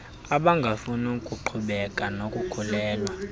abangafuni kuqhubekeka nokukhulelwa